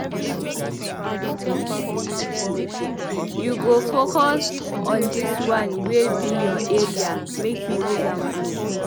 You go focus on dis one wey be your area make you use am blow.